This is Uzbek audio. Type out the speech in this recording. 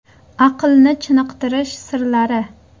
Aqlni chiniqtirish sirlari .